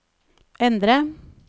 endre